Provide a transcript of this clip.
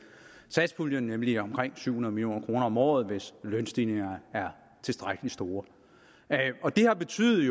satspuljen nemlig omkring syv hundrede million kroner om året hvis lønstigningerne er tilstrækkelig store og det har jo betydet i